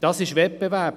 Das ist Wettbewerb.